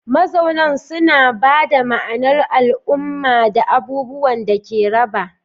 Mazaunan suna ba da ma'anar al'umma da abubuwan da aka raba.